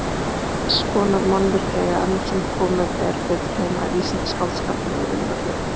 Þess konar mannvirki eiga enn sem komið er betur heima í vísindaskáldskap en í raunveruleikanum.